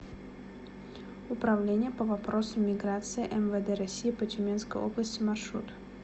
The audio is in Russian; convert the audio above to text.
управление по вопросам миграции мвд россии по тюменской области маршрут